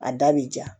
A da bɛ ja